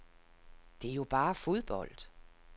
Det er jo bare fodbold.